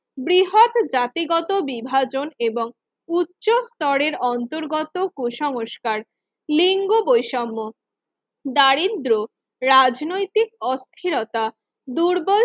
বৃহৎ জাতিগত বিভাজন এবং উচ্চ স্তরের অন্তর্গত কুসংস্কার লিঙ্গ বৈষম্য দারিদ্র রাজনৈতিক অস্থিরতা দুর্বল